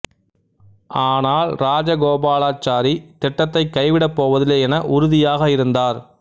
ஆனால் ராஜகோபாலாச்சாரி திட்டத்தை கைவிடப் போவதில்லை என உறுதியாக இருந்தார்